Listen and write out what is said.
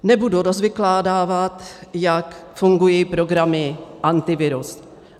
Nebudu rozvykládávat, jak fungují programy Antivirus.